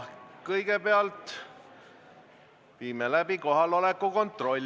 Kõigepealt viime läbi kohaloleku kontrolli.